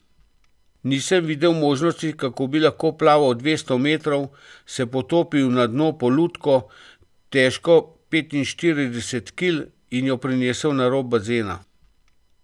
Nisem videl možnosti, kako bi lahko plaval dvesto metrov, se potopil na dno po lutko, težko petinštirideset kil, in jo prinesel na rob bazena.